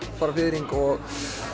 fiðring og